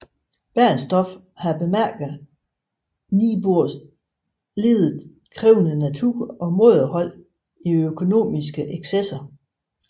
Bernstorff havde bemærket Niebuhrs lidet krævende natur og mådehold i økonomiske excesser